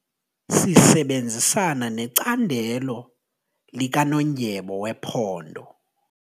Sisebenzisana necandelo likanondyebo wephondo.